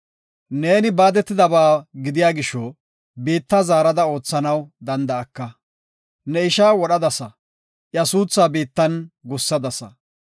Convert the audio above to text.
Neeni baadetidaba gidiya gisho biitta zaarada oothanaw danda7aka. Ne ishaa wodhadasa iya suuthaaka biittan gussadasa.